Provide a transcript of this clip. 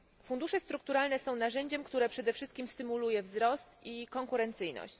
Fundusze strukturalne są narzędziem, które przede wszystkim stymuluje wzrost i konkurencyjność.